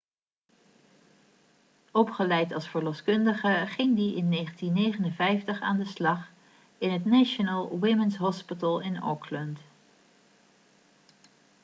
opgeleid als verloskundige ging hij in 1959 aan de slag in het national women's hospital in auckland